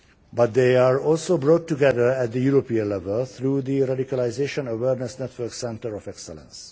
But they are also brought together at the European level through the Radicalisation Awareness Network Centre of Excellence.